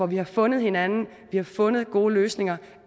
vi har fundet hinanden fundet gode løsninger